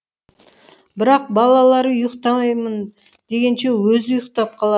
бірақ балалары ұйықтаймын дегенше өзі ұйықтап қалар